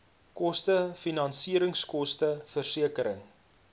koste finansieringskoste versekering